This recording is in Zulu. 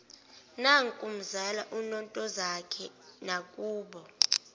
nakumzala untozakhe nakubo